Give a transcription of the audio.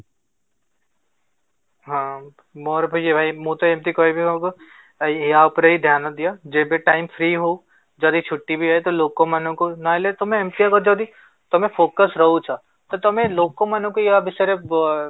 ହଁ, ମୋର ବି ଭାଇ ମୁଁ ତ ଏମିତି କହିବି ହବ ଆଉ ଏଇ ଆ ଉପରେ ଧ୍ୟାନ ହି ଦିଅ ଯେବେ time free ହଉ ଯଦି ଛୁଟି ବି ହୁଏ, ତ ଲୋକ ମାନଙ୍କୁ ନହେଲେ ତମେ ଏମିତି ହବ ଯଦି ତମେ focus ରହୁଛ ତ ତମେ ଲୋକ ମାନଙ୍କୁ ଏୟା ବିଷୟରେ